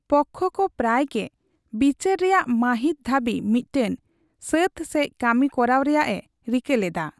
ᱯᱚᱠᱠᱷᱚ ᱠᱚ ᱯᱨᱟᱭ ᱜᱮ ᱵᱤᱪᱟᱹᱨ ᱨᱮᱭᱟᱜ ᱢᱟᱹᱦᱤᱛ ᱫᱷᱟᱹᱵᱤᱡ ᱢᱤᱫᱴᱮᱱ ᱥᱟᱹᱛ ᱥᱮᱪ ᱠᱟᱹᱢᱤ ᱠᱚᱨᱟᱣ ᱨᱮᱭᱟᱜ ᱮ ᱨᱤᱠᱟᱹ ᱞᱮᱫᱟ ᱾